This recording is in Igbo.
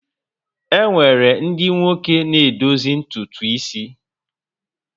E nwere ndị nwoke na-edozi ntutu isi